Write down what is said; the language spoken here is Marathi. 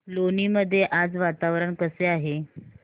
लोणी मध्ये आज वातावरण कसे आहे